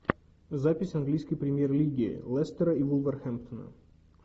запись английской премьер лиги лестера и вулверхэмптона